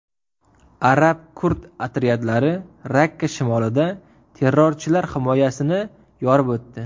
Arab-kurd otryadlari Rakka shimolida terrorchilar himoyasini yorib o‘tdi.